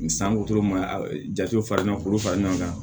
Ni sanko ma jate fara ɲɔgɔn fara ɲɔgɔn kan